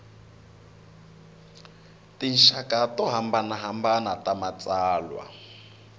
tinxaka to hambanahambana ta matsalwa